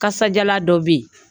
Kasadiyalan dɔ bɛ yen